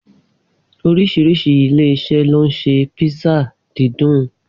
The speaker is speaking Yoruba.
Orísìrísi ilé-iṣẹ́ ló ń ṣe písà dídùn.